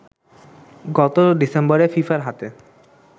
গত ডিসেম্বরে ফিফার হাতে